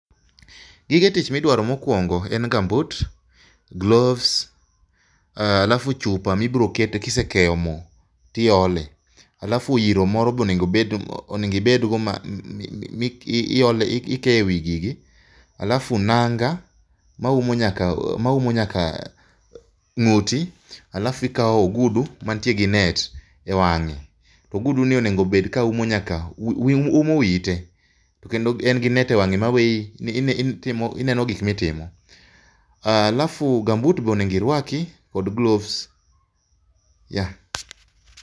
Gige tich midwaro mokuongo en gambut, gloves, halafu chupa mibiro kete kisekeyo moo tiole, alafu iro moro be onego obedgo ma iole, ikeye wii gigi alafu nanga maumo nyaka, maumo nyaka nguti alafu ikao ogudu mantie gi net e wange to ogudu ni onego obed ni ouma nyaka, umo wiyi tee kendo en gi net e wange maweyi, ineno gik mitimo. Alafu gambut be onego irwaki kod gloves